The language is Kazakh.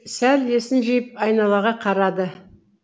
сәл есін жиып айналаға қарады